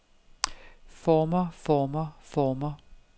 former former former